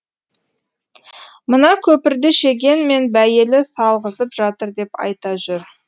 мына көпірді шеген мен байәлі салғызып жатыр деп айта жүр